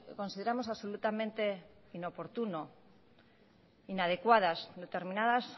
consideramos absolutamente inoportuno inadecuadas determinadas